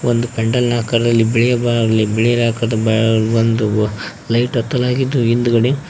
ಒಂದು ಪೆಂಡಲ್ ನ ಆಕಾರದಲ್ಲಿ ಬಿಳಿಯ ಬಾ ಬಿಳಿ ಆಕರದ ಬಾ ಒಂದು ಲೈಟ್ ಹತ್ತಲಾಗಿದ್ದು ಹಿಂದ್ಗಡೆ --